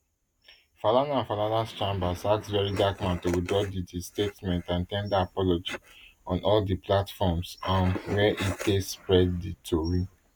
falana and falanas chambers ask very dark man to withdraw di di statement and ten der apology on all di platforms um wey e take spread di tori